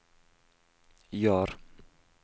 Jar